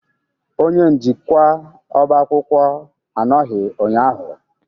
Onye njikwa ọba akwụkwọ anọghị ụnyahụ?